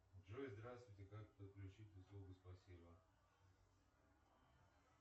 джой здравствуйте как подключить услугу спасибо